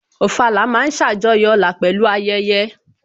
Ofala ma ń ṣàjọyọ̀ ọlá pẹ̀lú ayẹyẹ